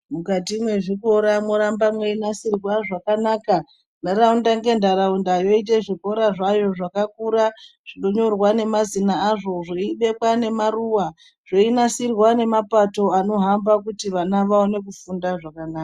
Mukati mwezvikora morambe meinasirwa zvakanaka ntharaunda ngentharaundayoite zvikora zvayo zvakakura zvinonyorwa nemazina azvo zvinobekwe nemaruwa zveinasirwa nemapato anohamba kuti vana vaone kufunda zvakanaka.